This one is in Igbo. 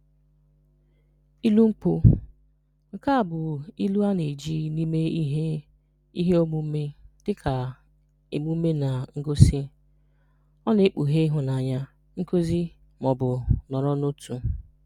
Ilu Nkwu: Nke a bụ ilu a na-eji n’ime ihe ihe omume dịka emume na ngosị. Ọ na-ekpughe ịhụnanya, nkuzi, ma ọ bụ nọrọ n'otu.